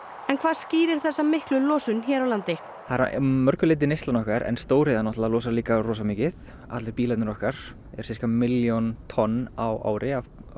en hvað skýrir þessa miklu losun hér á landi það er að mörgu leyti neyslan okkar en stóriðja losar líka rosa mikið allir okkar eru sirka milljón tonn á ári af